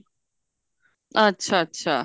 ਅੱਛਾ ਅੱਛਾ